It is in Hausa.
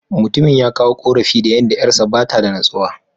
Mutumin ya kawo ƙorafi da yadda ƴarsa ba ta da natsuwa.